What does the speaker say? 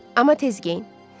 Amma tez geyin.